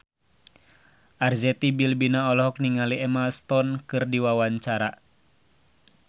Arzetti Bilbina olohok ningali Emma Stone keur diwawancara